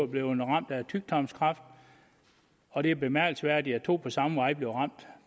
blevet ramt af tyktarmskræft og det er bemærkelsesværdigt at to på samme vej bliver ramt